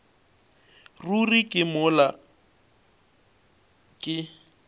ruri ke neng mola ke